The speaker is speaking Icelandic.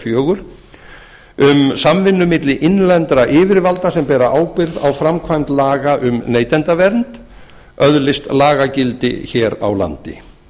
fjögur um samvinnu milli innlendra yfirvalda sem bera ábyrgð á framkvæmd laga um neytendavernd öðlist lagagildi hér á landi